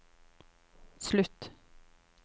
slutt